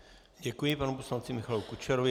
Děkuji panu poslanci Michalu Kučerovi.